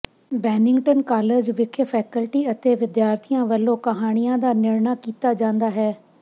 Bennington college ਵਿਖੇ faculty ਅਤੇ ਵਿਦਿਆਰਥੀਆਂ ਵੱਲੋਂ ਕਹਾਣੀਆਂ ਦਾ ਨਿਰਣਾ ਕੀਤਾ ਜਾਂਦਾ ਹੈ